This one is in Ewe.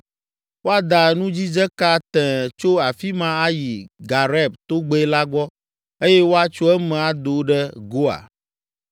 Woada nudzidzeka tẽe tso afi ma ayi Gareb togbɛ la gbɔ eye woatso eme ado ɖe Goa.